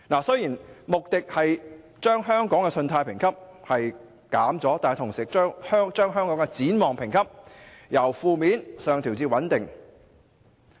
雖然穆迪下調了香港的信貸評級，但同時把香港的展望評級由"負面"上調至"穩定"。